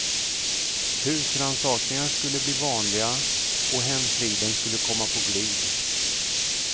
Husrannsakningar skulle bli vanliga, och hemfriden skulle komma på glid.